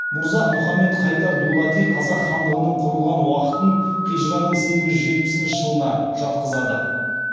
мырза мұхамед хайдар дулати қазақ хандығының құрылған уақытын хижраның сегіз жүз жетіпісінші жылына жатқызады